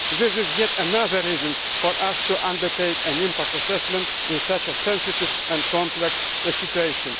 This is yet another reason for us to undertake an impact assessment in such a sensitive and complex situation.